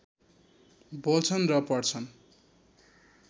बोल्छन् र पढ्छन्